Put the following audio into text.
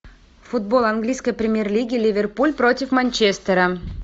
футбол английской премьер лиги ливерпуль против манчестера